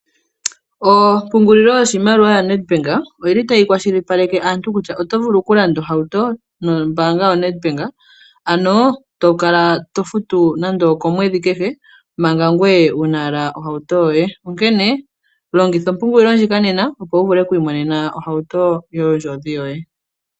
Ompungulilo yoshimaliwa yaNEDBANK oyili tayi kwashilipaleke aantu kutya oto vulu okulanda ohauto nombaanga yoNEDBANK ano to kala futu nando okomwedhi kehe manga wuna owala ohauto yoye onkene longitha ompungulilo ndjika nena opo wu vule oku imonena ohauto yondjodhi yoye.